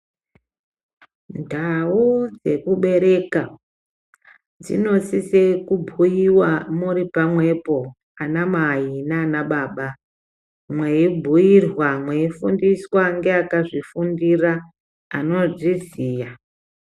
Ndau dzekubereka dzinosise kubhuyiwa muri pamwepo ana mai nana baba mweyi bhuyirwa meifundiswa ngeva kazvifundira anozviziya.